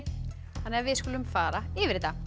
þannig að við skulum fara yfir þetta